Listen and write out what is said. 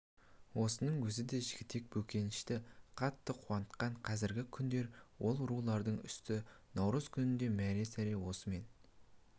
осының өзі де жігітек бөкеншіні қатты қуантқан қазіргі күндер ол рулардың үсті наурыз күніндей мәра-сәра осымен